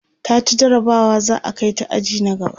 taci jarabawa za'a Kai ta aji na gaba